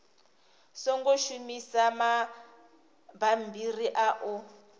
songo shumisa mabammbiri a u